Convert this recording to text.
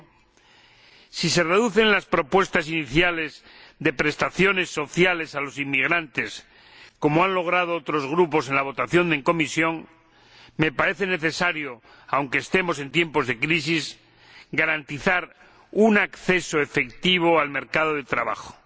Finalmente, si se reducen las propuestas iniciales de prestaciones sociales a los inmigrantes, como han logrado otros grupos en la votación en comisión, me parece necesario, aunque estemos en tiempos de crisis, garantizar un acceso efectivo al mercado de trabajo.